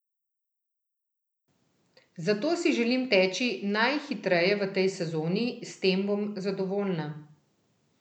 Zato si želim teči najhitreje v tej sezoni, s tem bom zadovoljna.